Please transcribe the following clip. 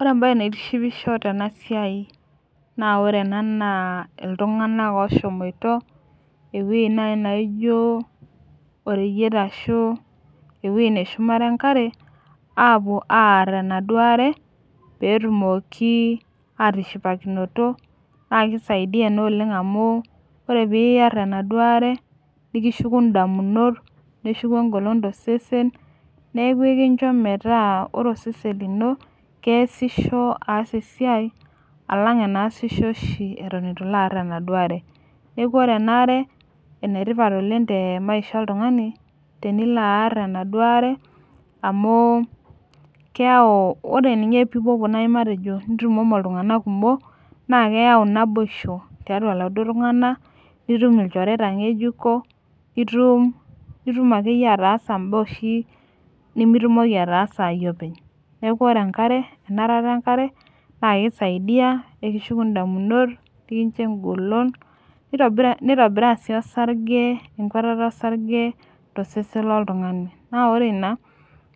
Ore ebae naitishipisho tena siai, naa ore ena naa iltunganak ooshomoita ewueji naaji naijo oreyiet ashu ewueji neshumare enkare, aapuo aar enaduo are, pee etumoki aatishipakinoto. naa kisaidia Ina Oleng amu ore pee iyarie enaduoo are, nikishuku damunot. neshuku egolon tosesen. neeku ekincho metaa ore osesen lino keesishoreki aas esiai. alang enaasisho oshi Eton eitu ilo aar enaduo are. neeku ore ena are, ene tipat oleng te maisha oltungani tenilo aar enaduo are, amu keyau ore ninye pee ipopuo naaji matejo nitumomo iltunganak kumok naa keyau naboisho, tiatua iladuok tunganak nitum ilchoreta ngejuko. nitum akeyie ataasa naa oshi nimitumoki ataasa aayie openly. neeku ore enarata enkare naa kisaidia, nikishuku damunot, nikincho egoloto. nitobiraa sii osarge ,enkwatata osarge tosesen loltunngani naa ore Ina,